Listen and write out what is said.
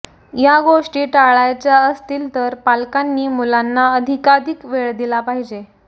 या गोष्टी टाळायच्या असतील पालकांनी मुलांना अधिकाधिक वेळ दिला पाहिजे